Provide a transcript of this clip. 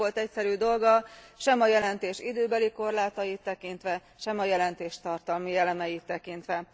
Nem volt egyszerű dolga sem a jelentés időbeli korlátait tekintve, sem a jelentés tartalmi elemeit tekintve.